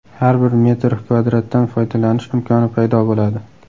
Har bir metr kvadratdan foydalanish imkoni paydo bo‘ladi.